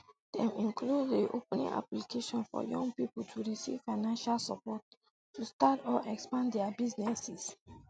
dem include reopening applications for young pipo to receive financial support to start or expand dia businesses